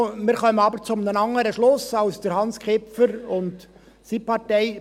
– Wir kommen aber zu einem anderen Schluss als Hans Kipfer und seine Partei.